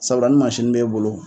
Sabura ni b'e bolo